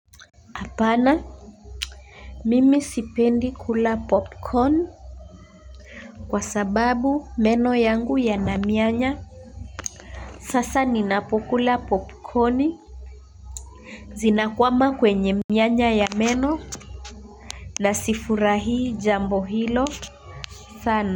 Hapana, mimi sipendi kula popcorn kwa sababu meno yangu yana mianya. Sasa ninapokula popcorn zina kwama kwenye mianya ya meno na sifurahii jambo hilo sana.